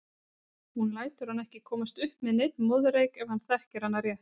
Hún lætur hann ekki komast upp með neinn moðreyk ef hann þekkir hana rétt.